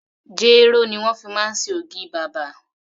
Jéró ni wón fi máa ń ṣe ògì bàbà.